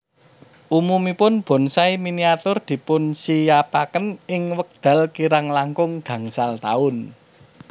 Umumipun bonsai miniatur dipunsinyapaken ing wekdal kirang langkung gangsal taun